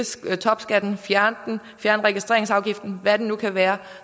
topskatten fjerne den fjerne registreringsafgiften eller hvad det nu kan være